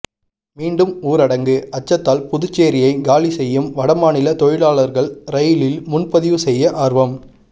மீண்டும் ஊரடங்கு அச்சத்தால் புதுச்சேரியை காலிசெய்யும் வட மாநில தொழிலாளர்கள் ரயிலில் முன்பதிவு செய்ய ஆர்வம்